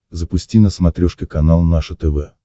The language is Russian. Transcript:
запусти на смотрешке канал наше тв